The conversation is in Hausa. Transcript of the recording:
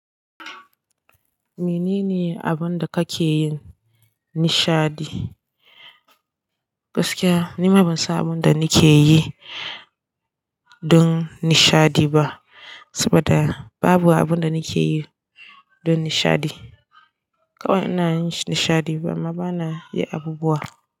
Menene abin da kake yin nishadi? Gaskiya ni ma ban san abin da nike yi don nishadi ba, saboda babu abin da nike yi don nishadi. Kawa ina yin nishadi, amma bana yi abubuwa.